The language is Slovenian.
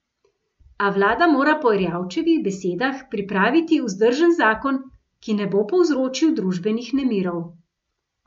A vlada mora po Erjavčevih besedah pripraviti vzdržen zakon, ki ne bo povzročil družbenih nemirov.